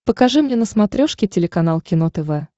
покажи мне на смотрешке телеканал кино тв